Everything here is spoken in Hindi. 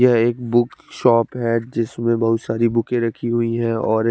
यह एक बुक शॉप है जिसमे बोहोत सारी बुके रखी हुई है और--